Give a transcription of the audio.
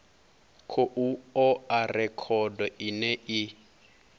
khou oa rekhodo ine i